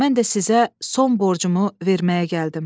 Mən də sizə son borcumu verməyə gəldim.